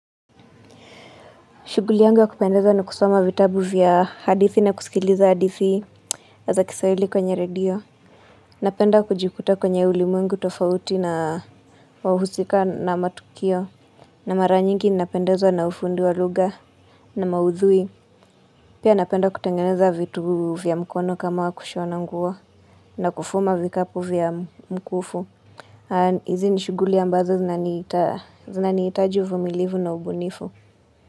Shuguli yangu ya kupendeza ni kusoma vitabu vya hadithi na kusikiliza hadithi za kisawili kwenye redio. Napenda kujikuta kwenye ulimwengu tofauti na wahusika na matukio. Na mara nyingi ni napendeza na ufundi wa lugha. Na maudhui. Pia napenda kutengeneza vitu vya mkono kama kushona nguo. Na kufuma vikapu vya mkufu. Hizi ni shughuli ambazo zinanihitaji uvumilvu na ubunifu.